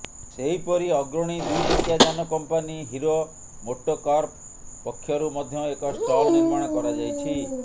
ସେହିପରି ଅଗ୍ରଣୀ ଦୁଇଚକିଆ ଯାନ କଂପାନି ହିରୋ ମୋଟୋକର୍ପ ପକ୍ଷରୁ ମଧ୍ୟ ଏକ ଷ୍ଟଲ୍ ନିର୍ମାଣ କରାଯାଇଛି